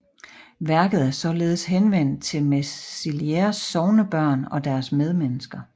Værket er således henvendt til Mesliers sognebørn og deres medmennesker